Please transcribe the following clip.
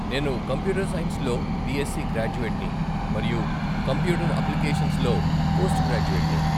నేను కంప్యూటర్ సైన్స్లో బిఎస్సీ గ్రాడ్యుయేట్ని, మరియు కంప్యూటర్ అప్లికేషన్స్లో పోస్ట్ గ్రాడ్యుయేట్ని.